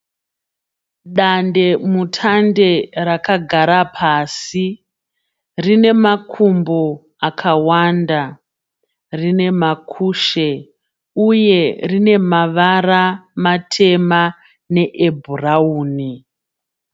Dandemutande rakagara pasi. Rine makumbo akawanda, rine makushe uye rine mavara matema neebhurauni.